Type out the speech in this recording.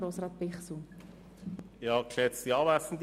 Kommissionspräsident der FiKo.